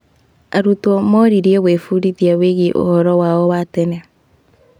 Arutwo moririo gwĩbundithia wĩgiĩ ũhoro wao wa tene.